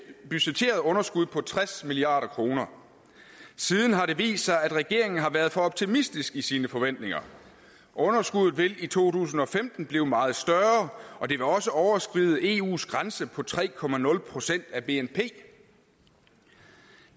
budgetteret underskud på tres milliard kroner siden har det vist sig at regeringen har været for optimistisk i sine forventninger underskuddet vil i to tusind og femten blive meget større og det vil også overskride eus grænse på tre procent af bnp